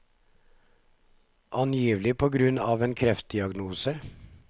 Angivelig på grunn av en kreftdiagnose.